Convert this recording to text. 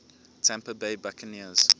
tampa bay buccaneers